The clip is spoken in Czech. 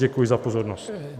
Děkuji za pozornost.